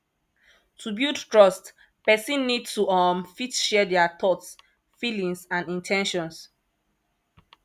to build trust person need to um fit share their thoughts feelings and in ten tions